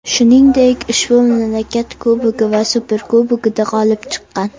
Shuningdek, ushbu mamlakat Kubogi va Superkubogida g‘olib chiqqan.